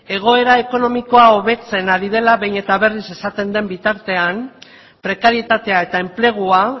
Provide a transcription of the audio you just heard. egoera ekonomikoa hobetzen ari dela behin eta berriz esaten den bitartean prekarietatea eta enplegua